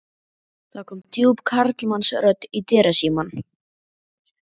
Það kom djúp karlmannsrödd í dyrasímann.